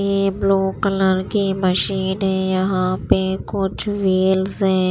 ये blue colour की machine है यहां पे कुछ व्हील्स है।